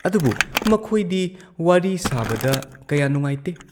ꯑꯗꯨꯕꯨ ꯃꯈꯣꯏꯗꯤ ꯋꯥꯔꯤ ꯁꯥꯕꯗ ꯀꯌꯥ ꯅꯨꯡꯉꯥꯏꯇꯦ ꯫